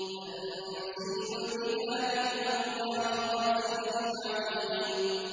تَنزِيلُ الْكِتَابِ مِنَ اللَّهِ الْعَزِيزِ الْعَلِيمِ